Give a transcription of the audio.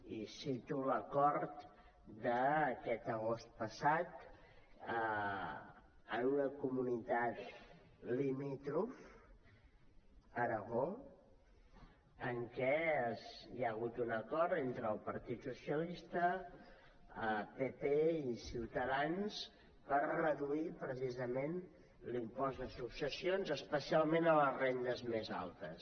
i cito l’acord d’aquest agost passat en una comunitat limítrof aragó en que hi ha hagut un acord entre el partit socialista pp i ciutadans per reduir precisament l’impost de successions especialment a les rendes més altes